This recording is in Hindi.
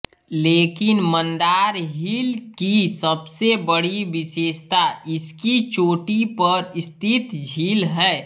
लेकिन मंदार हिल की सबसे बड़ी विशेषता इसकी चोटी पर स्थित झील है